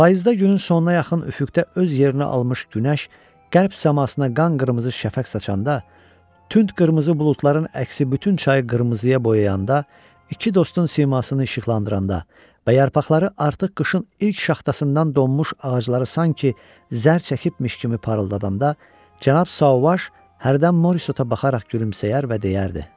Payızda günün sonuna yaxın üfüqdə öz yerini almış günəş qərb səmasına qan qırmızı şəfəq saçanda, tünd qırmızı buludların əksi bütün çayı qırmızıya boyayanda, iki dostun simasını işıqlandırannda və yarpaqları artıq qışın ilk şaxtasından donmuş ağacları sanki zər çəkibmiş kimi parıldadanda, Cənab Sauvaj hərdən Morissota baxaraq gülümsəyər və deyərdi: